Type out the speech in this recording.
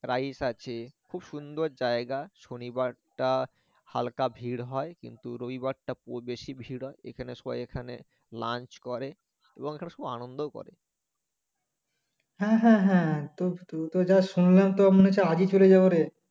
হ্যা হ্যা হ্যা তো যা শুনলাম মনে হচ্ছে তো আগেই চলে যাব রে